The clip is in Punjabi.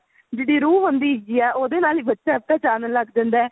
ਜਿਹਦੀ ਰੂਹ ਹੁੰਦੀ ਹੈਗੀ ਏ ਉਹਦੇ ਨਾਲ ਹੀ ਬੱਚਾ ਪਹਿਚਾਣ ਲੱਗ ਜਾਂਦਾ ਹੈ